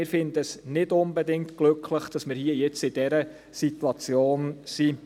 Wir finden es nicht unbedingt glücklich, dass wir jetzt in dieser Situation sind.